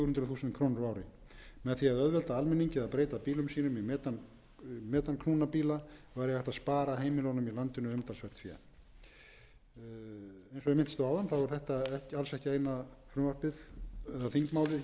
á ári með því að auðvelda almenningi að breyta bílum sínum í metanknúna bíla væri hægt að spara heimilunum í landinu umtalsvert fé eins og ég minntist á áðan er þetta alls ekki eina þingmálið á þinginu núna sem